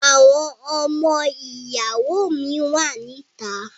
Àwọn ọmọ ìyàwó mi wà ní ìta.